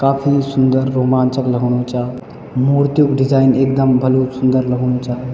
काफी सुन्दर रोमांचक लगणु चा मूर्तियूं क डिजाईन एकदम भलू सुन्दर लगणु चा।